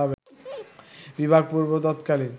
বিভাগপূর্ব ততকালীন